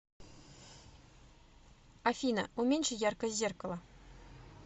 афина уменьши яркость зеркала